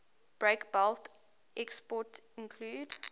breakbulk exports include